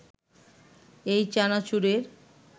এই চানাচুরের